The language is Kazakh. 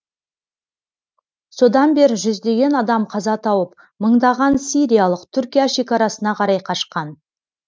содан бері жүздеген адам қаза тауып мыңдаған сириялық түркия шекарасына қарай қашқан